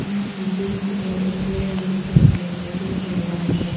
यहा पीछे की और एक घर है जिसका कलर सफेद और लाल है।